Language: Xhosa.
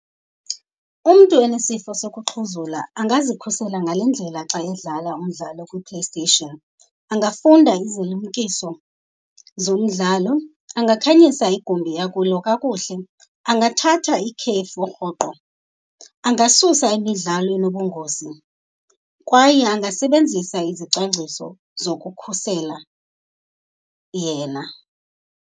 Umntu onesifo sokuxhuzula angazikhusela ngale ndlela xa edlala umdlalo kwiPlayStation. Angafunda izilumkiso zomdlalo, angakhanyisa igumbi akulo kakuhle, angathatha ikhefu rhoqo, angasusa imidlalo enobungozi kwaye angasebenzisa izicwangciso zokukhusela yena.